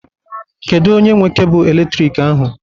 Kedu onye nwe cable eletrik ahụ?